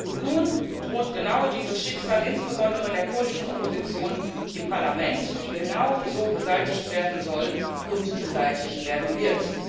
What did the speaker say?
Und nun droht genau dieses Schicksal insbesondere der kurdischen Opposition im Parlament, die genau so beseitigt werden soll und beseitigt werden wird.